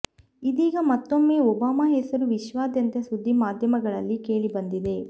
ಇದೀಗ ಮತ್ತೊಮ್ಮೆ ಒಬಾಮಾ ಹೆಸರು ವಿಶ್ವದಾದ್ಯಂತ ಸುದ್ದಿ ಮಾಧ್ಯಮಗಳಲ್ಲಿ ಕೇಳಿ ಬಂದಿದೆ